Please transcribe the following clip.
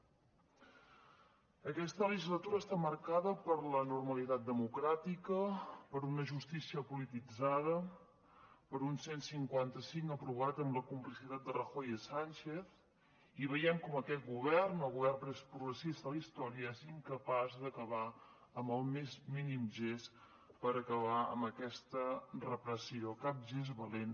aquesta legislatura està marcada per la normalitat democràtica per una justícia polititzada per un cent i cinquanta cinc aprovat amb la complicitat de rajoy i sánchez i veiem com aquest govern el govern més progressista de la història és incapaç d’acabar amb el més mínim gest per acabar amb aquesta repressió cap gest valent